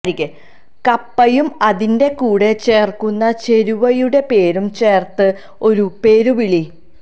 കപ്പയും അതിന്റെ കൂടെ ചേർക്കുന്ന ചേരുവയുടെ പേരും ചേർത്ത് ഒരു പേരുവിളി